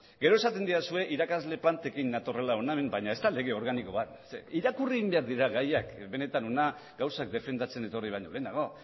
gero esaten didazue irakasle plantekin natorrela hona baina ezda lege organiko bat ze irakurri egin behar dira gaiak benetan hona gauzak defendatzera etorri baino lehenago